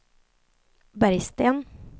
Bergsten